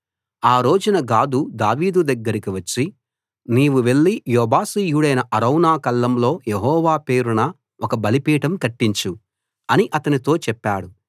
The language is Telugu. ఆ రోజున గాదు దావీదు దగ్గరికి వచ్చి నీవు వెళ్లి యెబూసీయుడైన అరౌనా కళ్ళంలో యెహోవా పేరున ఒక బలిపీఠం కట్టించు అని అతనితో చెప్పాడు